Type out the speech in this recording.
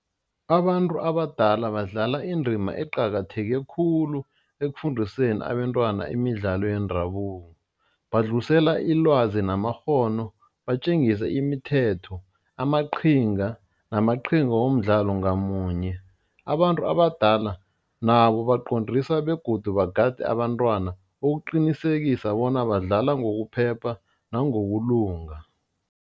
Abantu abadala badlala indima eqakatheke khulu ekufundiseni abentwana imidlalo yendabuko, badlulisela ilwazi namakghono batjengise imithetho, amaqhinga namaqhinga womdlalo ngamunye, abantu abadala nabo baqondise begodu bagade abantwana ukuqinisekisa bona badlala ngokuphepha nangokulunga.